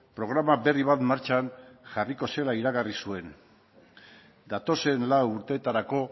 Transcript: programa berri bat martxan jarriko zela iragarri zuen datozen lau urtetarako